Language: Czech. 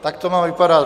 Tak to má vypadat.